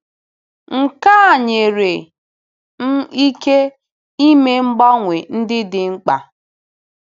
Nke a nyere m ike ime mgbanwe ndị dị mkpa.”